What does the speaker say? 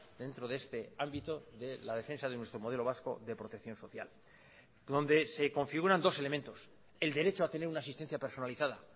dentro de este ámbito de la defensa de nuestro modelo vasco de protección social donde se configuran dos elementos el derecho a tener una asistencia personalizada